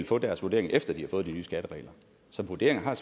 fået deres vurdering efter at de havde fået de nye skatteregler så vurderinger har